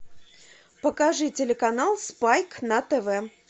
покажи телеканал спайк на тв